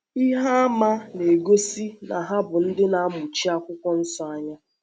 Ihe àmà na-egosi na ha bụ ndị na-amụchi Akwụkwọ Nsọ anya.